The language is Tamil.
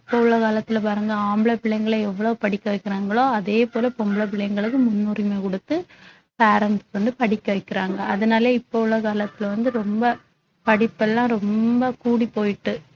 இப்ப உள்ள காலத்துல பாருங்க ஆம்பள புள்ளைங்கள எவ்ளோ படிக்க வைக்கிறாங்களோ அதே போல பொம்பள பிள்ளைங்களுக்கும் முன்னுரிமை கொடுத்து parents உ வந்து படிக்க வைக்கிறாங்க அதனால இப்ப உலக காலத்துல வந்து ரொம்ப படிப்பு எல்லாம் ரொம்ப கூடி போயிட்டு